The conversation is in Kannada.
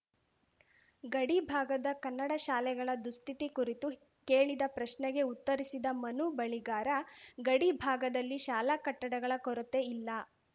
ಗಡಿ ಭಾಗದ ಕನ್ನಡ ಶಾಲೆಗಳ ದುಸ್ಥಿತಿ ಕುರಿತು ಕೇಳಿದ ಪ್ರಶ್ನೆಗೆ ಉತ್ತರಿಸಿದ ಮನು ಬಳಿಗಾರ ಗಡಿ ಭಾಗದಲ್ಲಿ ಶಾಲಾ ಕಟ್ಟಡಗಳ ಕೊರತೆಯಿಲ್ಲ